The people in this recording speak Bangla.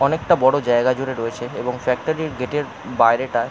অনেকটা বড় জায়গা জুড়ে রয়েছে এবং ফ্যাক্টরির গেটের বাইরে-টায়।